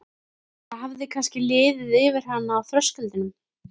Það hefði kannski liðið yfir hana á þröskuldinum.